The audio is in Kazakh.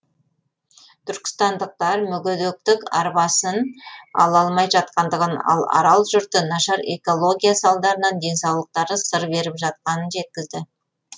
түркістандықтар мүгедектік арбасын ала алмай жатқандығын ал арал жұрты нашар экология салдарынан денсаулықтары сыр беріп жатқанын жеткізді